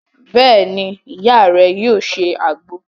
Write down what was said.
Beeni, Iya re yoo se agbo